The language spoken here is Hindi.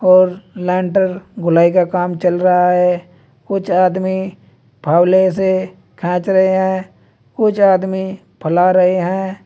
और लिंटर घुलाई का काम चल रहा है कुछ आदमी फावली से खींच रहे हैं कुछ आदमी फैला रहे हैं।